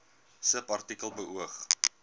subartikel beoog